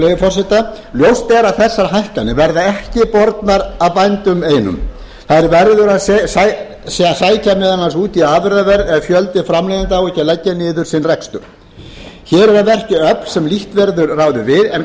forseta ljóst er að þessar hækkanir verða ekki bornar af bændum einum þær verður að sækja meðal annars út í afurðaverð ef fjöldi framleiðenda á ekki að leggja niður sinn rekstur hér eru að verki öfl sem lítt verður ráðið við en